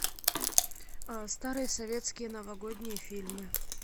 старые советские новогодние фильмы